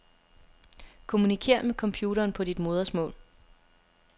Kommunikér med computeren på dit modersmål.